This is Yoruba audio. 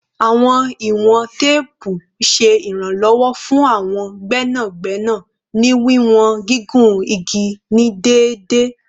Awọn iwọn teepu ṣe iranlọwọ fun awọn gbẹnagbẹna ni wiwọn gigun igi ni deede